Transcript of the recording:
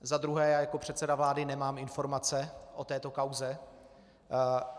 Za druhé já, jako předseda vlády nemám informace o této kauze.